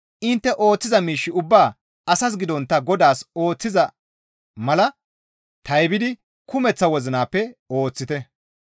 Intte ooththiza miish ubbaa asas gidontta Godaas ooththiza mala taybidi kumeththa wozinappe ooththite.